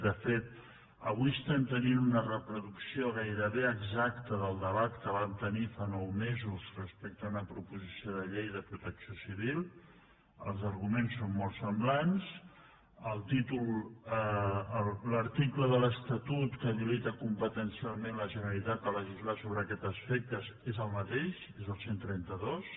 de fet avui tenim una reproducció gairebé exacta del debat que vam tenir fa nou mesos respecte a una pro·posició de llei de protecció civil els arguments són molt semblants el títol l’article de l’estatut que habi·lita competencialment la generalitat a legislar sobre aquest aspecte és el mateix és el cent i trenta dos